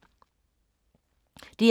DR K